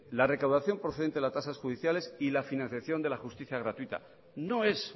la recaudación procedente de las tasas judiciales y la financiación de la justicia gratuita no es